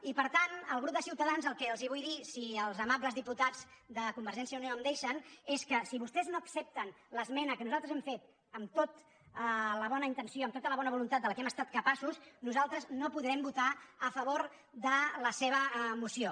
i per tant al grup de ciutadans el que els vull dir si els amables diputats de convergència i unió em deixen és que si vostès no accepten l’esmena que nosaltres hem fet amb tota la bona intenció amb tota la bona voluntat de la que hem estat capaços nosaltres no podrem votar a favor de la seva moció